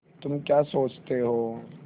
तुम क्या सोचते हो